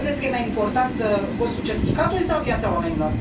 Credeți că este mai important costul certificatului sau viața oamenilor?